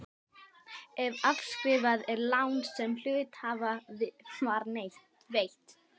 ef afskrifað er lán sem hluthafa var veitt.